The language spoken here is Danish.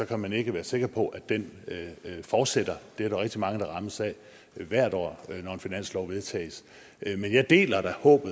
kan man ikke være sikker på at den fortsætter det er der rigtig mange der rammes af hvert år når en finanslov vedtages men jeg deler da fru